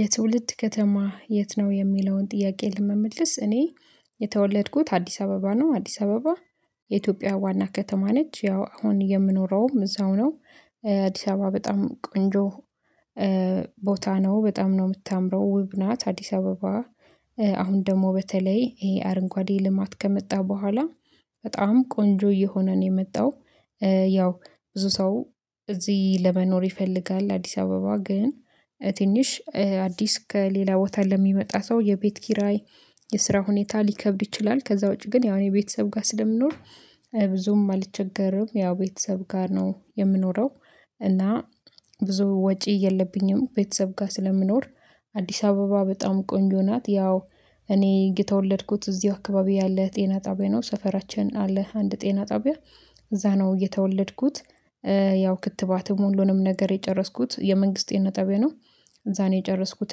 የትውልድ ከተማ የት ነው? የሚለውን ጥያቄ ለመመለስ እኔ የተወለድኩት አዲስ አበባ ነው። አዲስ አበባ የኢትዮጵያ ዋና ከተማ ነች። ያው አሁን የምኖረውም እዛው ነው። አዲስ አበባ በጣም ቆንጆ ቦታ ነው በጣም ነው የምታምረው ውብ ናት አዲስ አበባ። አሁን ደግሞ በተለይ ይሄ አረንጓዴ ልማት ከመጣ በኋላ በጣም ቆንጆ እየሆነ ነው የመጣው። ያው ብዙ ሰው እዚህ ለመኖር ይፈልጋል አዲስ አበባ ግን ትንሽ አዲስ ከሌላ ቦታ ለሚመጣ ሰው የቤት ኪራይ የስራ ሁኔታ ሊከብድ ይችላል። ከዛ ውጪ ግን ያው ቤተሰብ ጋር ስለምንኖር ብዙም አልቸገርም። ያው ቤተሰብ ጋር ነው የምኖረው። እና ብዙ ወጪ የለብኝም ቤተሰብ ጋር ስለምኖር። አዲስ አበባ በጣም ቆንጆ ናት። ያው እኔ የተወለድኩት እዚህ አካባቢ ያለ ጤና ጣቢያ ነው ሰፈራችን አለ አንድ ጤና ጣቢያ እዛ ነው የተወለድኩት። ያው ክትባትም ሁሉንም ነገር የጨረስኩት የመንግስት ጤና ጣቢያ ነው። እዛ ነው የጨረስኩት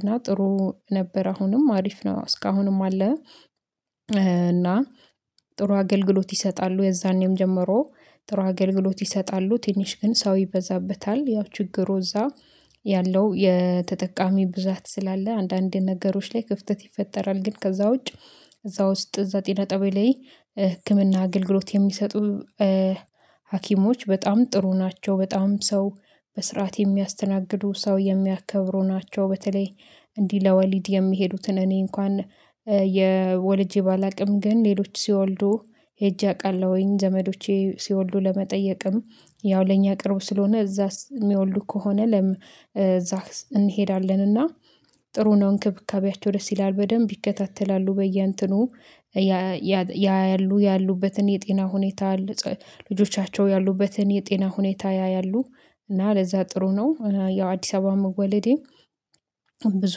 እና ጥሩ ነበር አሁንም አሪፍ ነው እስካሁንም አለ። እና ጥሩ አገልግሎት ይሰጣሉ የዛኔም ጀመሮ ጥሩ አገልግሎት ይሰጣሉ ትንሽ ግን ሰው ይበዛበታል። ያው ችግሩ እዛ ያለው የተጠቃሚ ብዛት ስላለ አንዳንድ ነገሮች ላይ ክፍተት ይፈጠራል። ግን ከዛ ውጭ እዛ ውስጥ እዛ ጤና ጣቢያ ላይ ህክምና አገልግሎት የሚሰጡ ሀኪሞች በጣም ጥሩ ናቸው። በጣም ሰው በስርዓት የሚያስተናግዱ ሰው የሚያከብሩ ናቸው። በተለይ እንዲህ ለወሊድ የሚሄዱትን እኔ እንኳን የወልጄ ባላውቅም ግን ሌሎች ሲወልዱ ሄጄ አውቃለሁኝ ዘመዶቼ ሲወልዱ ለመጠየቅም ያው ለኛ ቅርብ ስለሆነ እዛስ የሚወልዱ ከሆነ እዛ እንሄዳለን እና ጥሩ ነው እንክብካቤያቸው ደስ ይላል በደንብ ይከታተላሉ። በየእንትኑ ያያሉ ያሉበትን የጤና ሁኔታ ልጆቻቸው ያሉበትን የጤና ሁኔታ ያያሉ። እና ለዛ ጥሩ ነው ያው አዲስ አበባ መወለዴ ብዙ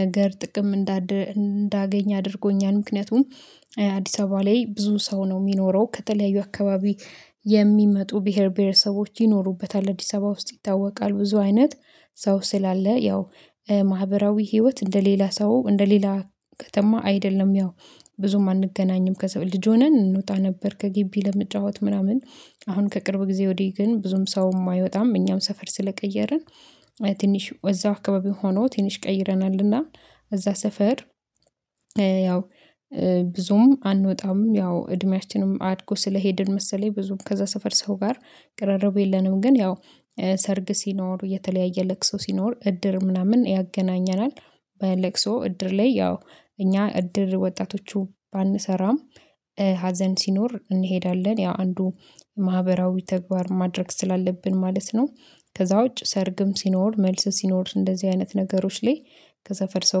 ነገር ጥቅም እንዳገኝ አድርጎኛል። ምክንያቱም አዲስ አበባ ላይ ብዙ ሰው ነው የሚኖረው ከተለያዩ አካባቢ የሚመጡ ብሄር ብሄረሰቦች ይኖሩበታል። አዲስ አበባ ውስጥ ይታወቃል ብዙ አይነት ሰው ስላለ ያው ማህበራዊ ህይወት እንደ ሌላ ሰው እንደ ሌላ ከተማ አይደለም። ያው ብዙም አንገናኝም ከዛ ልጅ ሆነን እንወጣ ነበር። ከግቢ ልንጫወት ምናምን አሁን ከቅርብ ጊዜ ወዲህ ግን ብዙም ሰው የማይወጣም እኛም ሰፈር ስለቀየረን ትንሽ እዛው አካባቢ ሆኖ ትንሽ ቀይረናልና እዛ ሰፈር ያው ብዙም አንወጣም። ያው እድሜያችንም አድጎ ስለሄድን መሰለኝ ብዙም ከዛ ሰፈር ሰው ጋር ቅረርብ የለንም። ግን ያው ሰርግ ሲኖር የተለያየ ለቅሶ ሲኖር እድር ምናምን ያገናኘናል። በለቅሶ እድር ላይ ያው እኛ እድር ወጣቶቹ ባንሰራም ሀዘን ሲኖር እንሄዳለን ያ አንዱ ማህበራዊ ተግባር ማድረግ ስላለብን ማለት ነው። ከዛ ውጭ ሰርግም ሲኖር መልስ ሲኖር እንደዚህ አይነት ነገሮች ላይ ከሰፈር ሰው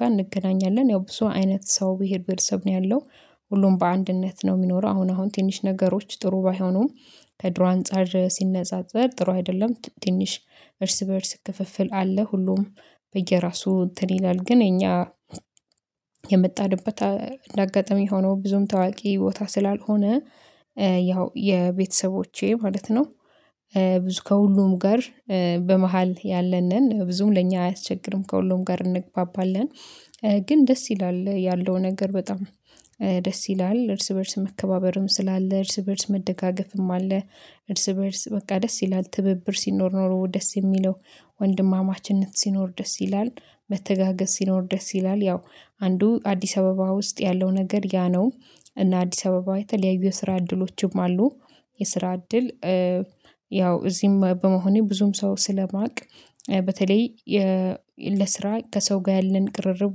ጋር እንገናኛለን ያው ብዙ አይነት ሰው ብሄር ብሄለሰብ ነው ያለው። ሁሉም በአንድነት ነው የሚኖረው አሁን አሁን ትንሽ ነገሮች ጥሩ ባይሆኑም ከድሮ አንፃር ሲነጻጸር ጥሩ አይደለም። ትንሽ እርስ በእርስ ክፍፍል አለ ሁሉም በየራሱ እንትን ይላል ግን እኛ የመጣንበት እንዳጋጣሚ ሆኖ ብዙም ታዋቂ ቦታ ስላልሆነ ያው የቤተሰቦቼ ማለት ነው ብዙ ከሁሉም ጋር በመሃል ያለን ነን ብዙም ለእኛ አያስቸግርም። ከሁሉም ጋር እንግባባለን ግን ደስ ይላል ያለው ነገር በጣም ደስ ይላል እርስ በእርስ መከባበርም ስላለ እርስ በእርስ መደጋገፍም አለ። እርስ በእርስ በቃ ደስ ይላል ትብብር ሲኖር ኖሮ ደስ የሚለው ወንድማማችነት ሲኖር ደስ ይላል። መተጋገስ ሲኖር ደስ ይላል ያው አንዱ አዲስ አበባ ውስጥ ያለው ነገር ያ ነው። እና አዲስ አበባ የተለያዩ የስራ እድሎችም አሉ። የስራ እድል ያው እዚህም በመሆኔ ብዙም ሰው ስለማውቅ በተለይ ለስራ ከሰው ጋር ያለን ቅርርብ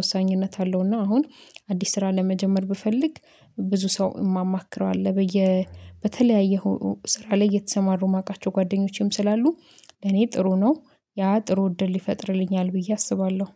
ወሳኝነት አለው። እና አሁን አዲስ ስራ ለመጀመር ብፈልግ ብዙ ሰው የማማክረው አለ። በየ በተለያዩ ስራ ላይ እየተሰማሩ የማውቃቸው ጓደኞቼም ስላሉ ለኔ ጥሩ ነው። ያ ጥሩ ውድ ይፈጥርልኛል ብዬ አስባለሁ